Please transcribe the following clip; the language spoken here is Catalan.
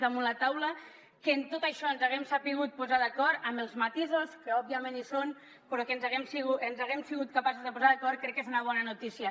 damunt la taula que en tot això ens hàgim sabut posar d’acord amb els matisos que òbviament hi són però que ens hàgim sabut posar d’acord crec que és una bona notícia